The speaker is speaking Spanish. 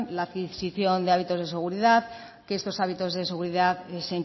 la adquisicion de hábitos de seguridad que estos hábitos de seguridad se